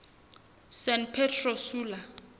san pedro sula